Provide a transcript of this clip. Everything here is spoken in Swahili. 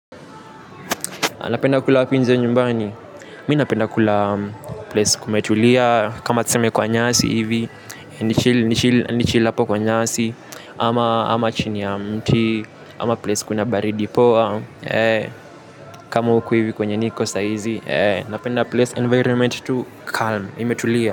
Napenda kula wapi nje ya nyumbani, mi napenda kula place kumetulia, kama tuseme kwa nyasi hivi, nichill apo kwa nyasi, ama chini ya mti, ama place kuna baridi poa, kama huku hivi kwenye niko sahizi, napenda place environment tu calm, imetulia.